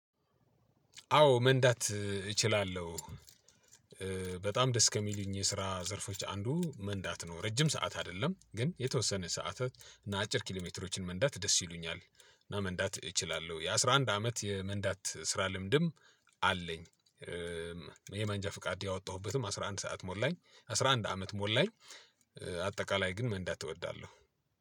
አዎ መንዳት እችላለሁ። በጣም ደስ ከሚሉኝ የስራ ዘርፎች አንዱ መንዳት ነው ረጅም ሰዓት አይደለም ግን የተወሰነ ሰዓታት እና አጭር ኪሎ ሜትሮችን መንዳት ደስ ይሉኛል። እና መንዳት እችላለሁ የአስራ አንድ አመት የመንዳት ስራ ልምድም አለኝ። ይሄ መንጃ ፍቃድ ያወጣሁበትም አስራ አንድ ሰዓት ሞላኝ አስራ አንድ አመት ሞላኝ። አጠቃላይ ግን መንዳት እወዳለሁ።